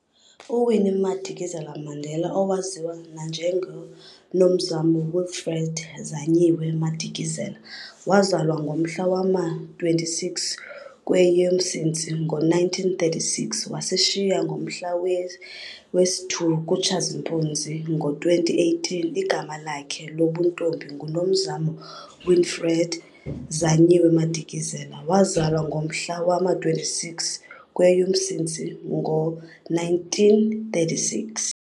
U-Winnie Madikizela-Mandela, Owaziwa nanjengo-Nomzamo Winifred Zanyiwe Madikizela, wazalwa ngomhla wama-26 kweyoMsintsi ngo1936 - wasishiya ngomhla wesi-2 kuTshazimpuzi ngo2018, Igama lakhe lobuntombi ngu Nomzamo Winifred Zanyiwe Madikizela, wazalwa ngomhla wama-26 kweyoMsintsi ngo-1936.